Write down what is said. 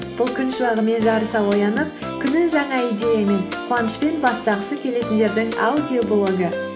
бұл күн шуағымен жарыса оянып күнін жаңа идеямен қуанышпен бастағысы келетіндердің аудиоблогы